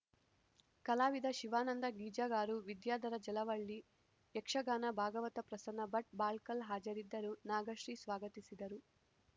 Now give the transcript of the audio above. ಕಲಾವಿದ ಶಿವಾನಂದ ಗೀಜಗಾರು ವಿದ್ಯಾಧರ ಜಲವಳ್ಳಿ ಯಕ್ಷಗಾನ ಭಾಗವತ ಪ್ರಸನ್ನ ಭಟ್‌ ಬಾಳ್ಕಲ್‌ ಹಾಜರಿದ್ದರು ನಾಗಶ್ರೀ ಸ್ವಾಗತಿಸಿದರು